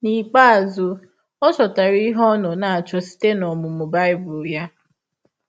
N’ikpeazụ, ọ chọtara ihe ọ nọ na - achọ site n’ọmụmụ Bible ya.